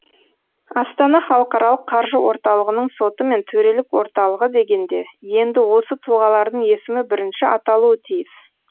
астана халықаралық қаржы орталығының соты мен төрелік орталығы дегенде енді осы тұлғалардың есімі бірінші аталуы тиіс